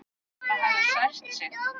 Það hafi sært sig.